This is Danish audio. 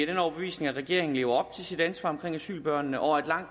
den overbevisning at regeringen lever op til sit ansvar for asylbørnene og at langt